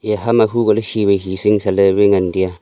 eya ham ma humko ley shi wai shi ley ngan tiya.